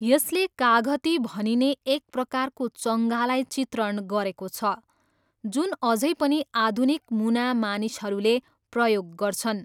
यसले काघती भनिने एक प्रकारको चङ्गालाई चित्रण गरेको छ, जुन अझै पनि आधुनिक मुना मानिसहरूले प्रयोग गर्छन्।